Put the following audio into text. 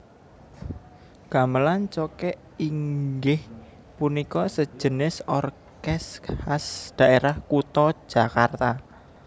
Gamelan cokek inggih punika sejenis orkes khas daerah kuta Jakarta